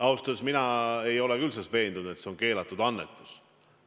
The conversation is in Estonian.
Ausalt öeldes mina ei ole küll veendunud, et see on keelatud annetus.